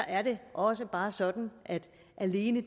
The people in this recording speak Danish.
er det også bare sådan at alene